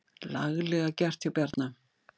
Laglega gert hjá Bjarna.